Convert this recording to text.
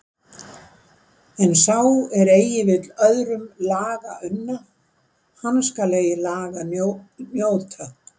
En sá er eigi vill öðrum laga unna, hann skal eigi laga njóta.